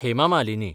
Hema Malini